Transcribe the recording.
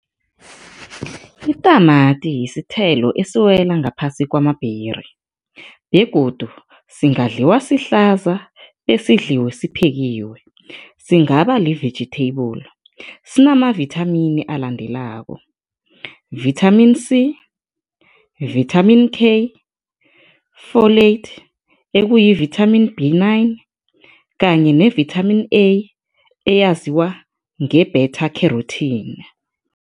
Itamati yisithelo esiwela ngaphasi kwama-berry begodu singadliwa sihlaza besidliwe siphekiwe, singaba li-vegetable. Sinamavithamini alandelako, Vitamin C, Vitamin K, folate, ekuyi-Vitamin B nine kanye ne Vitamin A, eyaziwa nge-beta carotene.